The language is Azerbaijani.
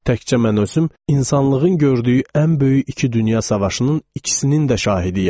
Təkcə mən özüm insanlığın gördüyü ən böyük iki dünya savaşının ikisinin də şahidiyəm.